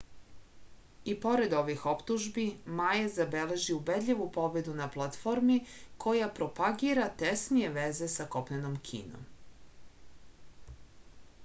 i pored ovih optužbi ma je zabeležio ubedljivu pobedu na platformi koja propagira tesnije veze sa kopnenom kinom